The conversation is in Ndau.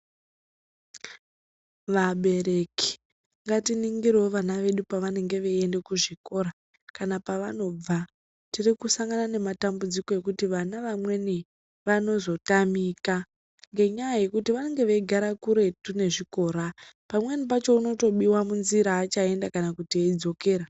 Vabereki ngatiningirewo vana vedu pavanenge veiende kuzvikora kana pavanobva. Tirikusangana nematambudziko ekuti vana vamweni vanozotamika ngenyaya yekuti vanenge veigara kuretu nezvikora. Pamwe pacho unotobiwa munzira achaenda kana kuti eidzokera.